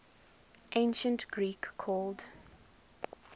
ancient greek called